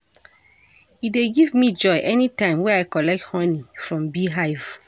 E dey give me joy anytime wey I collect honey from bee hive.